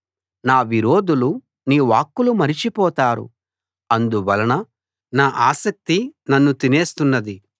నా విరోధులు నీ వాక్కులు మరచిపోతారు అందువలన నా ఆసక్తి నన్ను తినేస్తున్నది